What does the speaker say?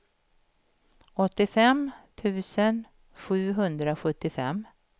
åttiofem tusen sjuhundrasjuttiofem